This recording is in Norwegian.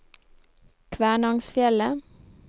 Kvænangsfjellet